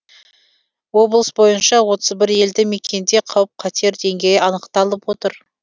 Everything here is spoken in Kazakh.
облыс бойынша отыз бір елді мекенде қауіп қатер деңгейі анықталып отыр